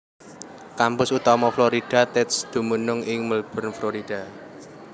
Kampus utama Florida Tech dumunung ing Melbourne Florida